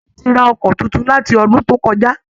Aremu ti ra ọkọ̀ tuntun, láti ọdún tó kọjá.